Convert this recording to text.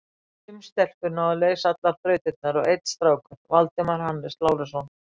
Fimm stelpur náðu að leysa allar þrautirnar og einn strákur, Valdimar Hannes Lárusson.